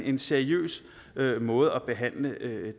en seriøs måde at behandle